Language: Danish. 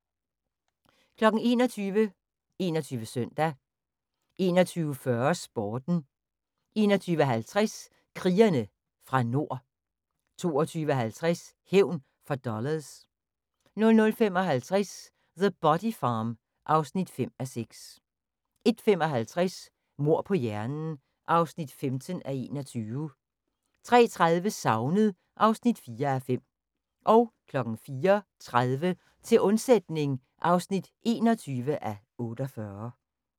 21:00: 21 Søndag 21:40: Sporten 21:50: Krigerne fra Nord 22:50: Hævn for dollars 00:55: The Body Farm (5:6) 01:55: Mord på hjernen (15:21) 03:30: Savnet (4:5) 04:30: Til undsætning (21:48)